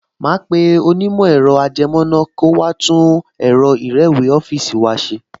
Màá pe onímọ̀ ẹ̀rọ-ajẹmọ́ná kó wá tún ẹ̀rọ ìrẹ́wèé ọ́fíìsì wa ṣe